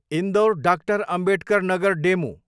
Indore, DR Ambedkar Nagar DEMU